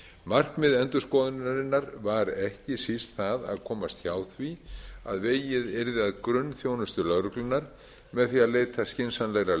markmið endurskoðunarinnar var ekki síst það að komast hjá því að vegið yrði að grunnþjónustu lögreglunnar með því að leita skynsamlegra